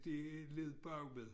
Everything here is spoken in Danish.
Det lå bagved